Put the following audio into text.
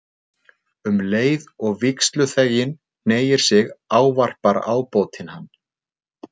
Um leið og vígsluþeginn hneigir sig ávarpar ábótinn hann